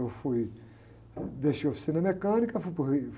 Eu fui, deixei a oficina mecânica, fui para o Rio.